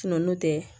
Sunɔ n'o tɛ